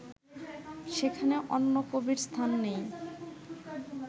সেখানে অন্য কবির স্থান নেই